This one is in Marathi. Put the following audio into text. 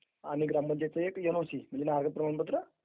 is not clear